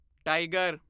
tiger